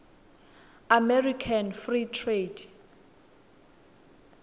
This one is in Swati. american free trade